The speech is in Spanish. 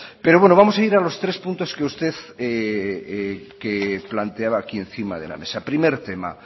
pero bueno vamos a ir a los tres puntos que usted planteaba aquí encima de la mesa primer tema